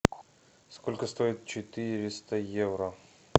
сколько стоит четыреста евро